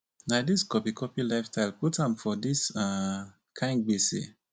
na dis copy copy lifestyle put am for dis um kind gbese.